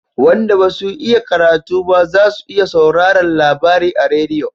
Wanda basu iya karatu ba za su iya sauraran labari a rediyo